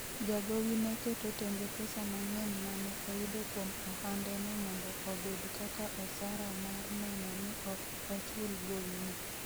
Jagowi ne keto tenge pesa mang'eny ma ne oyudo kuom ohandeno mondo obed kaka osara mar neno ni ok ochul gowino.